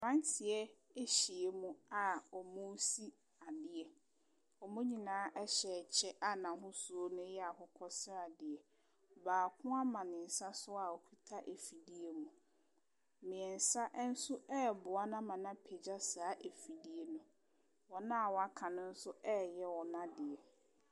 Mmeranteɛ ahyiam a wɔresi adeɛ. Wɔn nyinaa hyɛ a n'ahosuo no yɛ akokɔ sradeɛ. Baako ama ne nsa so a ɔkuta afidie mu Mmeɛnsa nso reboa no ama no apagya saa afidie no. wɔn a wɔaka no nso reyɛ wɔn adeɛ.